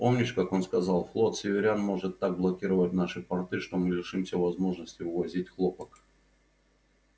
помнишь как он сказал флот северян может так блокировать наши порты что мы лишимся возможности вывозить хлопок